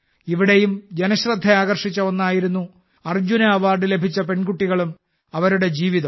ഇവിടെയും ജനശ്രദ്ധ ആകർഷിച്ച ഒന്നായിരുന്നു അർജുന അവാർഡ് ലഭിച്ച പെൺകുട്ടികളും അവരുടെ ജീവിതവും